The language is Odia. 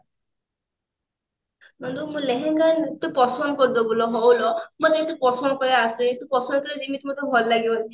ନନ୍ଦୁ ମୁଁ ଲେହେଙ୍ଗା ଆଣିବି ତୁ ପସନ୍ଦ କରିଦେବୁ ଲୋ ହଁ ଲୋ ମତେ ଏତେ ପସନ୍ଦ କରିବା ଆସେ ତୁ ପସନ୍ଦ କରିବୁ ଯେମିତି ମତେ ଭଲ ଲାଗିବ